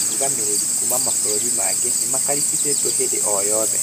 Arũgamĩrĩri kuma mabũrũri mangĩ nĩmakarimbicĩtwo hĩndĩ oyothe